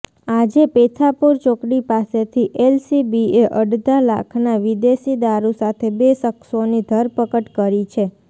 આજે પેથાપુર ચોકડી પાસેથી એલસીબીએ અડધા લાખના વિદેશીદારૂ સાથે બે શખસોની ધરપકડ કરી છે